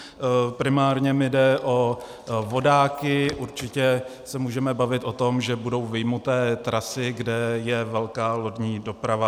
Primárně mi jde o vodáky, určitě se můžeme bavit o tom, že budou vyjmuté trasy, kde je velká lodní doprava.